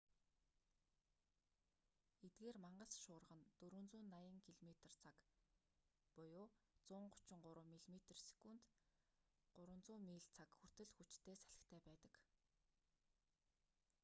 эдгээр мангас шуурга нь 480 км/цаг 133 м/сек; 300 миль/цаг хүртэл хүчтэй салхитай байдаг